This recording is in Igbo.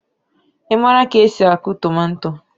ị maara ka esi akụ tomato